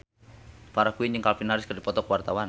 Farah Quinn jeung Calvin Harris keur dipoto ku wartawan